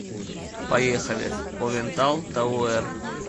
поехали овентал тауэр